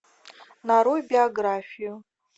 нарой биографию